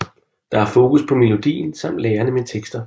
Der er fokus på melodien samt lærenemme tekster